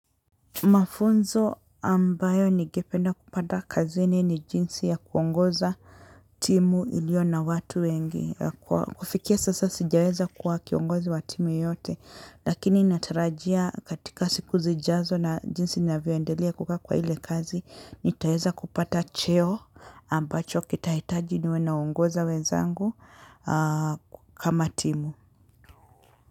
Mafunzo ambayo ningependa kupata kazini ni jinsi ya kuongoza timu iliyo na watu wengi ya kufikia sasa sijaweza kuwa kiongozi wa timu yote lakini natarajia katika siku zijazo na jinsi ninavyoendelia kukaa kwa ile kazi nitaweza kupata cheo ambacho kitahitaji niwe nawaongoza wenzangu kama timu.